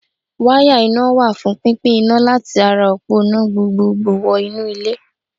Wáyà iná wà fún pínpín iná láti ara òpó iná gbogbogbò wọnú ilé.